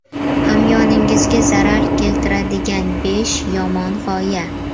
Hamyoningizga zarar keltiradigan besh yomon g‘oya.